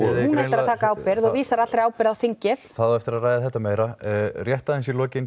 að taka ábyrgð og vísar allri ábyrgð á þingið það á eftir að ræða þetta meira en rétt aðeins í lokin